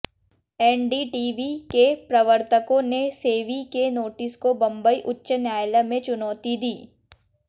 NDTV के प्रवर्तकों ने सेबी के नोटिस को बंबई उच्च न्यायालय में चुनौती दी